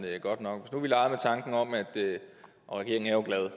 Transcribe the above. godt nok og regeringen er glad